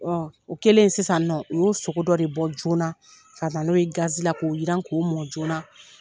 o kɛlen sisan nɔ u yu sogo dɔ de bɔ joona ka na n'o ye gazi la k'o yiran k'o mɔ joona.